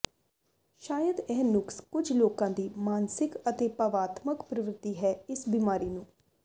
ਸ਼ਾਇਦ ਇਹ ਨੁਕਸ ਕੁਝ ਲੋਕਾਂ ਦੀ ਮਾਨਸਿਕ ਅਤੇ ਭਾਵਾਤਮਕ ਪ੍ਰਵਿਰਤੀ ਹੈ ਇਸ ਬਿਮਾਰੀ ਨੂੰ